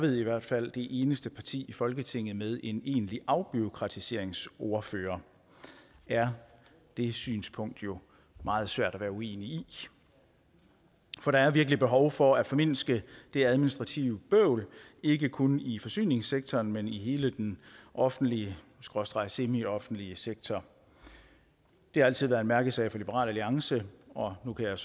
i hvert fald ved det eneste parti i folketinget med en egentlig afbureaukratiseringsordfører er det synspunkt jo meget svært at være uenig i for der er virkelig behov for at formindske det administrative bøvl ikke kun i forsyningssektoren men i hele den offentlige skråstreg semioffentlige sektor det har altid været en mærkesag for liberal alliance og nu kan jeg